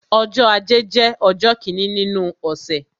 Ọjọ́ ajé jẹ́ ọjọ́ kíni nínú ọ̀sẹ̀.